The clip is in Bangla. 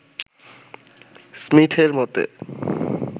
স্মীথের মতে